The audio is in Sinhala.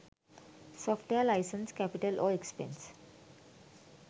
software license capital or expense